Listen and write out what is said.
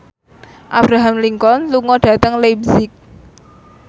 Abraham Lincoln lunga dhateng leipzig